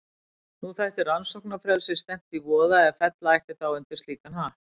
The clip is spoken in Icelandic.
Nú þætti rannsóknarfrelsi stefnt í voða ef fella ætti þá undir slíkan hatt.